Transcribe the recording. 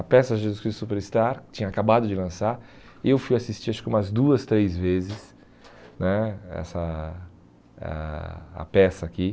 A peça Jesus Cristo Superstar, que tinha acabado de lançar, eu fui assistir acho que umas duas, três vezes né, essa ah a peça aqui.